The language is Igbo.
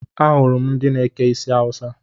Ahụrụ m ndị na-eke isi Awusa